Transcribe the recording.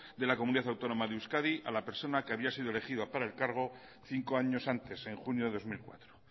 de la comunidad autónoma de euskadi a la persona que había sido elegida para el cargo cinco años antes en junio de dos mil cuatro